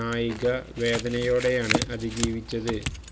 നായിക വേദനയോടെയാണ് അതിജീവിച്ചത്